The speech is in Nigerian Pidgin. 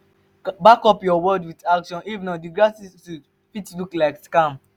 back up your words with action if not di gratitude fit look like scam